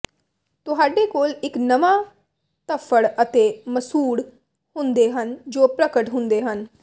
ਤੁਹਾਡੇ ਕੋਲ ਇੱਕ ਨਵਾਂ ਧੱਫੜ ਅਤੇ ਮਸੂਡ਼ ਹੁੰਦੇ ਹਨ ਜੋ ਪ੍ਰਗਟ ਹੁੰਦੇ ਹਨ